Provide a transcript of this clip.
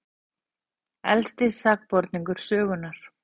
Elsti sakborningur sögunnar